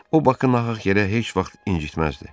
O Bakını nahaq yerə heç vaxt incitməzdi.